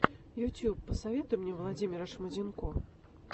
ютуб посоветуй мне владимира шмонденко